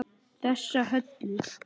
Þessa Höllu!